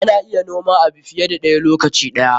Ana iya noman abu fiye da ɗaya lokaci ɗaya.